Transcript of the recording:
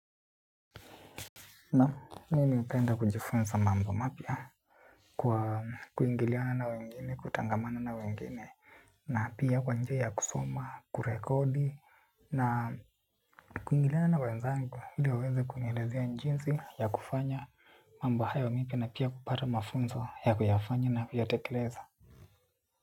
Na mimi hupenda kujifunza mambo mapya kwa kuingiliana na wengine, kutengamana na wengine. Na pia kwa njia ya kusoma, kurekodi, na kuingiliana na wenzangu ili wa weze kunielezea jinsi ya kufanya. Mambo hayo mimi na pia kupata mafunzo ya kuyafanya na kuyatekeleza.